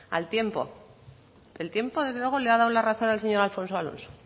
al tiempo el tiempo desde luego le ha dado la razón al señor alfonso alonso